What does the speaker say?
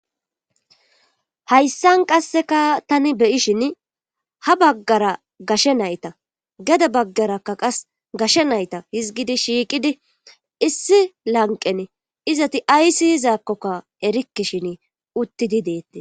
Hayssan qasseka tani beyishin ha baggara gashe nayta gede baggarakka qas gashe nayta hizgidi shiiqidi issi lanqen izati aysi yizaakkokka erikkishin uttidi deetti.